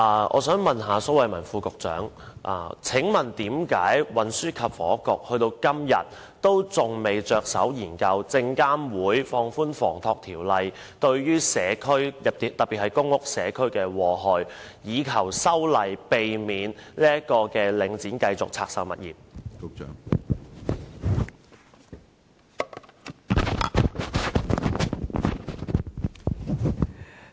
我想問蘇偉文局長，為何運輸及房屋局至今仍未着手研究證券及期貨事務監察委員會放寬《房地產投資信託基金守則》對社區，特別是公屋社區的禍害，並要求證監會修訂《守則》，以免領展繼續拆售物業？